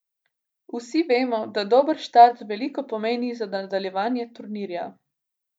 Vsi vemo, da dober štart veliko pomeni za nadaljevanje turnirja.